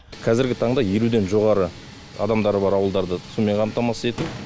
қазіргі таңда елуден жоғары адамдары бар ауылдарды сумен қамтамасыз ету